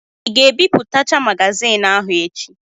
Ị ga-ebipụtacha magaziini ahụ echi?